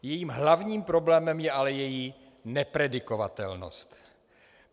Jejím hlavním problémem je ale její nepredikovatelnost.